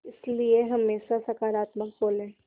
इसलिए हमेशा सकारात्मक बोलें